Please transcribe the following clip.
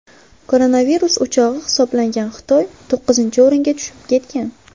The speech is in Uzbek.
Koronavirus o‘chog‘i hisoblangan Xitoy to‘qqizinchi o‘ringa tushib ketgan.